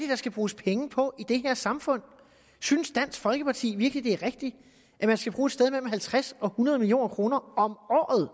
der skal bruges penge på i det her samfund synes dansk folkeparti virkelig det er rigtigt at man skal bruge sted mellem halvtreds og hundrede million kroner om